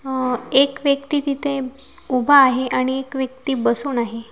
हा एक व्यक्ती तिथे उभा आहे आणि एक व्यक्ती बसून आहे.